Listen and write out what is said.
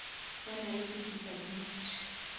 ba na le di disability